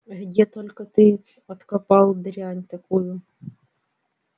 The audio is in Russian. где только ты откопал дрянь такую